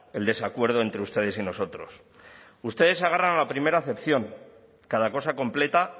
el desacuerdo entre ustedes y nosotros ustedes se agarran a la primera acepción cada cosa completa